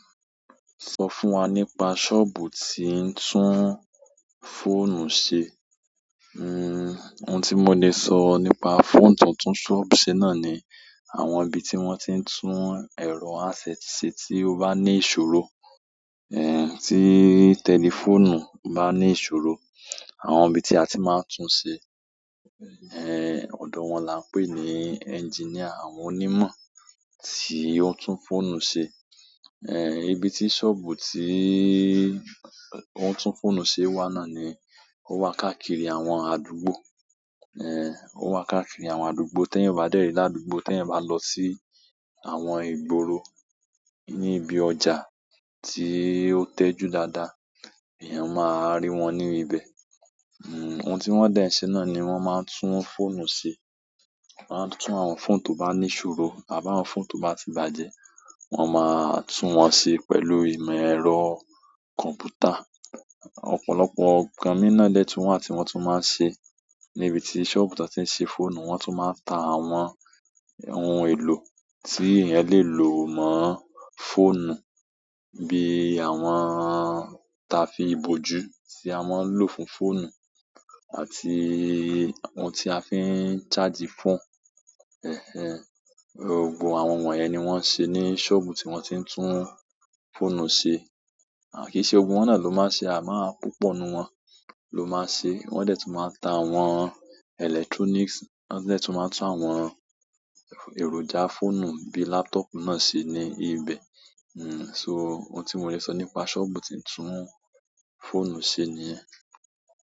Sọ fún wa nípa sọ́ọ̀bù tí ń tún fọ́ònù ṣe. Hmm ohun tí mo le sọ nípa fóònù tó ń tún sọ́ọ̀bù ṣe náà ni àwọn ibi tí wọ́n ti ń tún ẹ̀rọ handset ṣe tí ó bá ní ìṣòro. Eh tí tẹlifóònù bá ní ìṣòro, àwọn ibi tí a ti máa ń tún ṣe, eh òdò wọn là ń pè ní engineer, àwọn onímọ̀ tí ó ń tún fóònù ṣe. Eh ibi tí sọ́ọ̀bù tí ó ń tún fóònù ṣe wà náà ni ó wà káàkiri àwọn àdúgbò. Eh ó wà káàkiri àwọn àdúgbò, tí èèyàn o bá dẹ̀rì ládúgbò, tí èèyàn bá lọ sí àwọn ìgboro ní ibi ọjà tí ó tẹ́jú dáadáa, èèyàn máa rí wọn ní ibẹ̀. Hmm ohun tí wọ́n dẹ ń ṣe náà ni wọ́n máa ń tún fóònù ṣe. Wọ́n a tún àwọn fóònù to bá ní ìṣòro àbá àwọn fóònù tó bá ti bàjẹ́, wọ́n máa tún wọn ṣe pẹ̀lú ìmọ̀ ẹ̀rọ kọ̀m̀pútà. Ọ̀pọ̀lọpọ̀ nǹkan mìí na dẹ tun wa ti wọ́n tun máa ń ṣe ní ibi tí sọ́ọ̀bù tí wọ́n ti ń ṣe fóònù, wọ́n tún máa ta àwọn ohun èlò tí èèyàn lè lò mọ́ fóònù bí i àwọn ta fi ìbòjú tí a máa ń lò fún fóònù àti ohun tí a fi ń charge fóònù. Ẹ̀hẹ̀n, gbogbo àwọn won yẹn ní wọ́n ń ṣe ní sọ́ọ̀bù tí wọ́n ti ń tún fóònù ṣe. Kìí ṣe gbogbo wọ́n náà ló máa ń ṣe, à máa púpọ̀ nù wọ́n ló máa ń ṣe. Wọ́n dẹ̀ tó máa ń tá àwọn electronics, wọ́n dẹ̀ tó máa ń tún àwọn èròjà fóònù bí i laptop náà ṣe ní ibẹ̀. Hmm so ohun tí mo lè sọ nípa sọ́ọ̀bù tí ń tún fóònù ṣe nìyẹn.